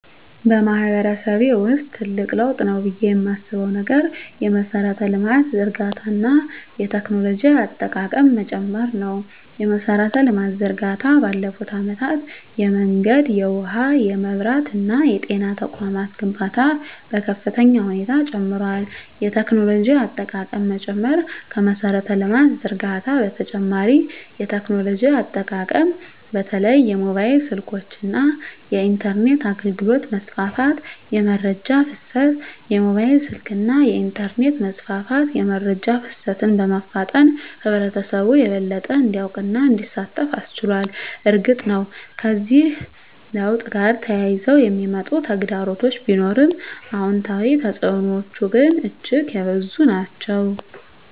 በማህበረሰቤ ውስጥ ትልቅ ለውጥ ነው ብዬ የማስበው ነገር የመሠረተ ልማት ዝርጋታ እና የቴክኖሎጂ አጠቃቀም መጨመር ነው። የመሠረተ ልማት ዝርጋታ ባለፉት አመታት የመንገድ፣ የውሃ፣ የመብራት እና የጤና ተቋማት ግንባታ በከፍተኛ ሁኔታ ጨምሯል። የቴክኖሎጂ አጠቃቀም መጨመር ከመሠረተ ልማት ዝርጋታ በተጨማሪ የቴክኖሎጂ አጠቃቀም በተለይም የሞባይል ስልኮች እና የኢንተርኔት አገልግሎት መስፋፋት። * የመረጃ ፍሰት: የሞባይል ስልክና የኢንተርኔት መስፋፋት የመረጃ ፍሰትን በማፋጠን ህብረተሰቡ የበለጠ እንዲያውቅና እንዲሳተፍ አስችሏል። እርግጥ ነው፣ ከዚህ ለውጥ ጋር ተያይዘው የሚመጡ ተግዳሮቶች ቢኖሩም፣ አዎንታዊ ተፅዕኖዎቹ ግን እጅግ የበዙ ናቸው።